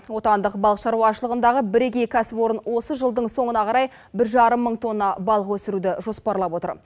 отандық балық шаруашылығындағы бірегей кәсіпорын осы жылдың соңына қарай бір жарым мың тонна балық өсіруді жоспарлап отыр